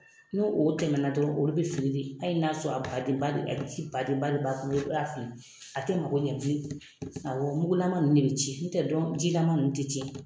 N'o o tɛmɛna dɔrɔn olu bɛ fili ayi n'a sɔrɔ a badenba de badenba de b'a kɔnɔ i b'a fili a tɛ magɔ ɲɛ bilen awɔ mugulama ninnu de bɛ tiɲɛ ntɛ dɔn jilaman ninnu tɛ tiɲɛ.